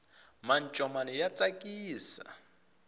mancomani ya tsakisa